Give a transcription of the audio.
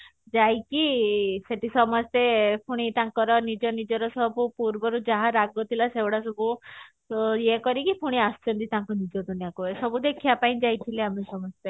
ଯାଇକି ଶେଠି ସମସ୍ତେ ପୁଣି ତାଙ୍କର ନିଜ ନିଜର ସବୁ ଯାହା ପୂର୍ବରୁ ଯାହା ରାଗ ଥିଲେ ସେଇଗୁଡା ସବୁ ଏଇ କରିକି ପୁଣି ଆସୁଛନ୍ତି ତାଙ୍କ ନିଜ ଦୁନିଆ କୁ ଏସବୁ ଦେଖିବା ପାଇଁ ଯାଇଥିଲୁ ଆମେ ସମସ୍ତେ